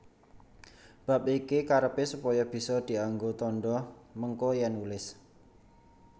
Bab iki karepé supaya bisa dianggo tandha mengko yèn nulis